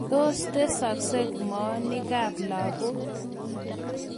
tos tesaksei moonikab lakok?